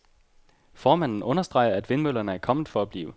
Formanden understreger, at vindmøllerne er kommet for at blive.